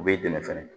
U b'i dɛmɛ fɛnɛ